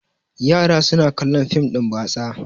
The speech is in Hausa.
yara suna kallon fim din batsa